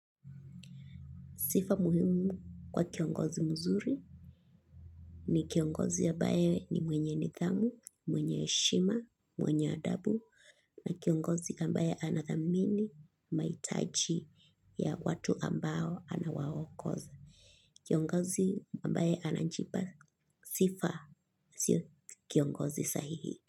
Sifa muhimu kwa kiongozi mzuri ni kiongozi ambaye ni mwenye nidhamu, mwenye heshima, mwenye adabu na kiongozi ambaye anathamini, mahitaji ya watu ambao anawaongoza. Kiongozi ambaye anajipa sifa si kiongozi sahihi.